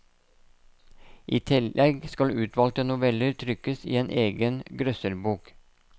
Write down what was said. I tillegg skal utvalgte noveller trykkes i en egen grøsserbok.